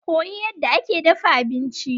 Koyi yadda ake dafa abinci.